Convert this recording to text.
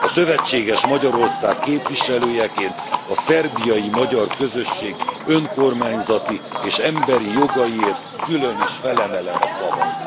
A szövetséges Magyarország képviselőjeként a szerbiai magyar közösség önkormányzati és emberi jogaiért külön is felemelem a szavam.